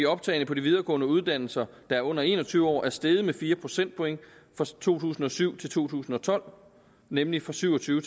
optagne på de videregående uddannelser der er under en og tyve år er steget med fire procentpoint fra to tusind og syv til to tusind og tolv nemlig fra syv og tyve